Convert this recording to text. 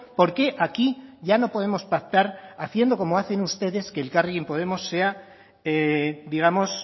por qué aquí ya no podemos pactar haciendo como hacen ustedes que elkarrekin podemos sea digamos